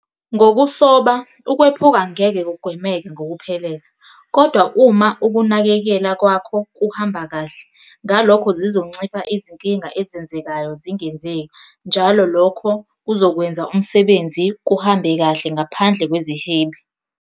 Ngokusoba ukwephuka ngeke kugwemeke ngokuphelele, kodwa uma ukunakekela kwakho kuhamba kahle ngalokho zizoncipha izinkinga ezenzekayo zingenzeki njalo lokho kuzokwenza umsebenzi kuhambe kahle ngaphandle kwezihibe.